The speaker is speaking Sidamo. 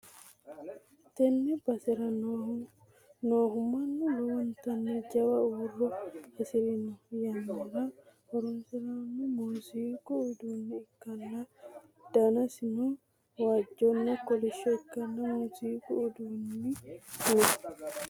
Tenne basera noohu noohu mannu lowontanni jawa huuro hasi'ranno yannara horonsi'nanni muuziiqu uduunne ikkanna, danaseo waajjonna kolishsho ikkinoha muuziiqu uduunni no